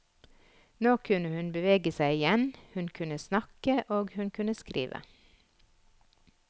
Nå kunne hun bevege seg igjen, hun kunne snakke og hun kunne skrive.